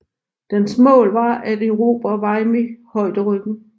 Dens mål var at erobre Vimy højderyggen